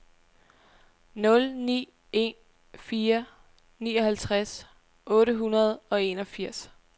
nul ni en fire nioghalvtreds otte hundrede og enogfirs